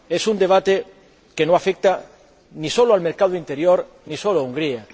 Es un debate que no afecta ni solo al mercado interior ni solo a Hungría.